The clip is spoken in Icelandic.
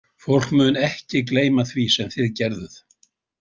Fólk mun ekki gleyma því sem þið gerðuð.